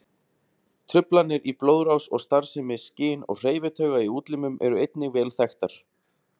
Truflanir í blóðrás og starfsemi skyn- og hreyfitauga í útlimum eru einnig vel þekktar.